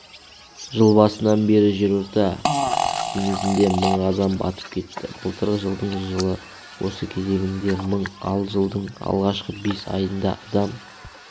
жыл басынан бері жерорта теңізінде мың адам батып кетті былтырғы жылдың жыл осы кезеңінде мың ал жылдың алғашқы бес айында адам